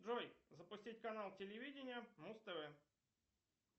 джой запустить канал телевидения муз тв